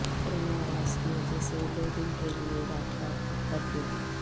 corona virus کی وجہ سے دو دن کیلئے رات کا کرفیو